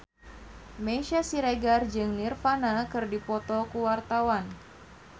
Meisya Siregar jeung Nirvana keur dipoto ku wartawan